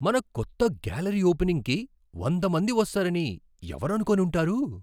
మన కొత్త గ్యాలరీ ఓపెనింగ్కి వంద మంది వస్తారని ఎవరనుకొని ఉంటారు?